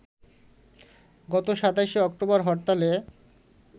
গত ২৭ অক্টোবর হরতালে